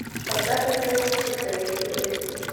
продажа перуанских солей выгодный курс